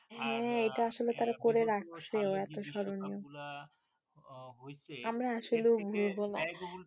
হ্যাঁ এটা আসলে তারা করে রাখছেও এতো স্মরণীয় আমরা আসলেও ভুলবো না